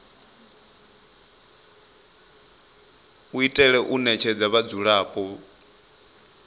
u itela u ṋetshedza vhadzulapo